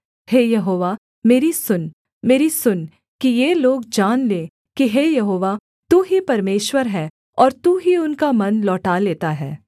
हे यहोवा मेरी सुन मेरी सुन कि ये लोग जान लें कि हे यहोवा तू ही परमेश्वर है और तू ही उनका मन लौटा लेता है